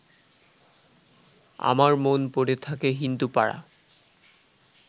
আমার মন পড়ে থাকে হিন্দুপাড়া